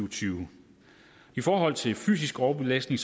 og tyve i forhold til fysisk overbelastning